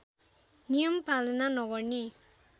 नियम पालना नगर्ने